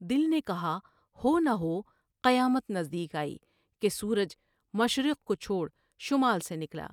دل نے کہا ہو نہ ہو قیامت نزد یک آئی کہ سورج مشرق کو چھوڑ شمال سے نکلا ۔